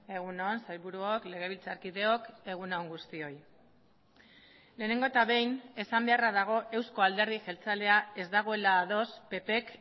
egun on sailburuok legebiltzarkideok egun on guztioi lehenengo eta behin esan beharra dago euzko alderdi jeltzalea ez dagoela ados ppk